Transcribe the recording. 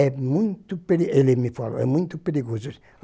É muito peri, ele me falou, é muito perigoso.